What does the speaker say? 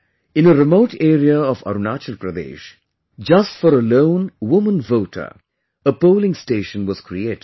In a remote area of Arunachal Pradesh, just for a lone woman voter, a polling station was created